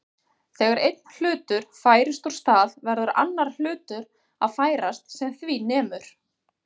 Þegar einn hlutur færist úr stað verður annar hlutur að færast sem því nemur.